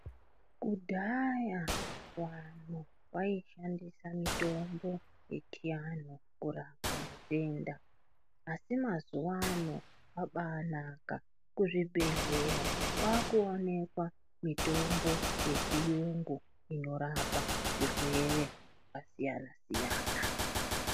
Kudhaya wanhu waishandisa mitombo yechianhu kurapa matenda, asi mazuwa ano kwabaanaka. Kuzvibhedhleya kwaakuoneka mitombo yechiyungu inorapa zvirwere zvakasiyana-siyana.